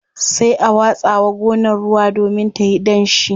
Sai a watsa wa gonar ruwa domin tayi danshi.